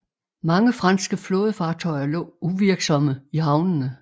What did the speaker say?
Mange franske flådefartøjer lå uvirksomme i havnene